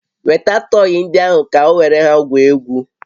Weta tọyị ndị ahụ ka o were ha gwuo egwu!